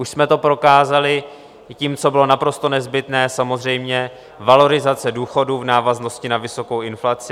Už jsme to prokázali tím, co bylo naprosto nezbytné, samozřejmě - valorizace důchodů v návaznosti na vysokou inflaci.